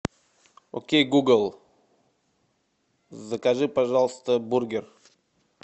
окей гугл закажи пожалуйста бургер